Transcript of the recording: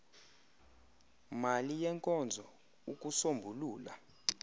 mali yenkonzo ukusombulula